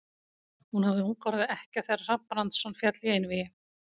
Hún hafði ung orðið ekkja þegar Hrafn Brandsson féll í einvígi.